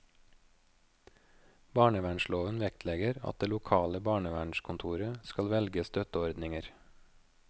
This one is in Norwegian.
Barnevernsloven vektlegger at det lokale barnevernskontoret skal velge støtteordninger.